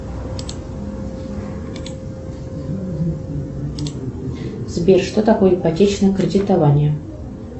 сбер что такое ипотечное кредитование